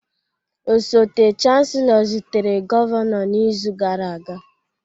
Osote Chancellor zutere Gọvanọ n'izu gara aga